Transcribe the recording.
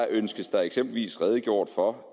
ønskes der eksempelvis redegjort for